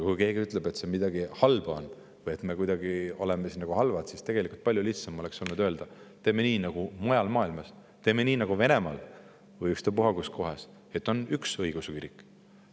Kui keegi ütleb, et selles on midagi halba, me oleme halvad, siis tegelikult oleks olnud palju lihtsam öelda: teeme nii nagu mujal maailmas, teeme nii nagu Venemaal või ükstapuha kus, et on üks õigeusu kirik.